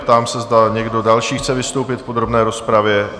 Ptám se, zda někdo další chce vystoupit v podrobné rozpravě?